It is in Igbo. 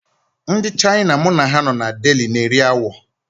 Ndị Chaina m na ha nọ na Delhi na-eri awọ.